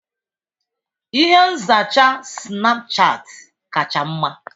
Ihe nzacha Sinapuchati kacha mma.